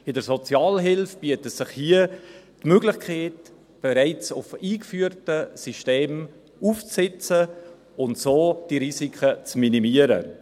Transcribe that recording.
In der Sozialhilfe bietet sich hier die Möglichkeit, auf bereits eingeführte Systeme aufzusitzen und so die Risiken zu minimieren.